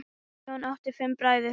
Jón átti fimm bræður.